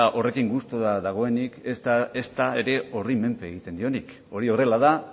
horrekin gustura dagoenik ezta ere horren menpe egiten dionik hori horrela da